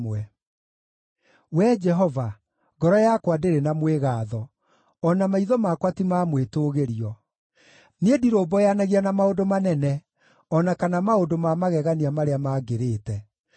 Wee Jehova, ngoro yakwa ndĩrĩ na mwĩgaatho, o na maitho makwa ti ma mwĩtũũgĩrio; niĩ ndirũmbũyanagia na maũndũ manene, o na kana maũndũ ma magegania marĩa mangĩrĩte.